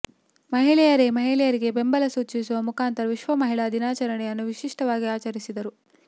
ಮಹಿಳೆಯರೇ ಮಹಿಳೆಯರಿಗೆ ಬೆಂಬಲ ಸೂಚಿಸುವ ಮುಖಾಂತರ ವಿಶ್ವ ಮಹಿಳಾ ದಿನಾಚರಣೆಯನ್ನು ವಿಶಿಷ್ಟವಾಗಿ ಆಚರಿಸಿದರು